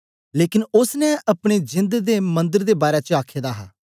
लेकन ओसने अपने जेंद दे मन्दर दे बारै च आखे दा हा